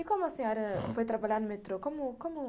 E como a senhora foi trabalhar no metrô? como como